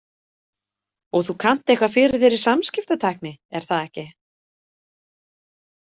Og þú kannt eitthvað fyrir þér í samskiptatækni, er það ekki?